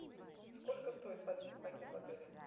сколько стоит свадебный пакет в отеле